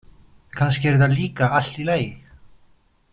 Kannski er það líka allt í lagi.